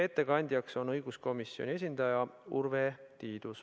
Ettekandja on õiguskomisjoni esindaja Urve Tiidus.